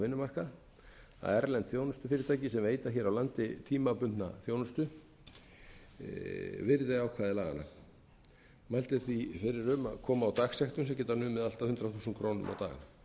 vinnumarkað að erlend þjónustufyrirtæki sem veita hér á landi tímabundna þjónustu virði ákvæði laganna mælt er því fyrir um að koma á dagsektum sem geta numið allt að hundrað þúsund krónur á dag